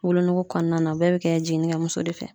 Wolonugu kɔnɔna na bɛɛ bɛ kɛ jiginikɛ muso de fɛ.